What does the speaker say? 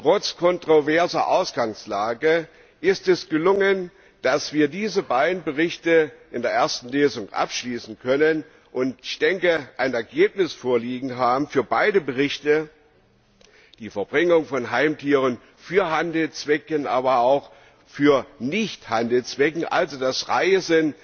Trotz kontroverser Ausgangslage ist es gelungen, dass wir diese beiden Berichte in der ersten Lesung abschließen können und ein Ergebnis vorliegen haben für beide Berichte, die Verbringung von Heimtieren für Handelszwecke aber auch für Nichthandelszwecke, und also für das Reisen